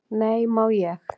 """Nei, má ég!"""